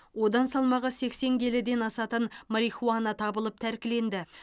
одан салмағы сексен келіден асатын марихуана табылып тәркіленді